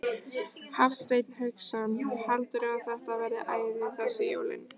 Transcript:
Hafsteinn Hauksson: Heldurðu að þetta verði æði þessi jólin?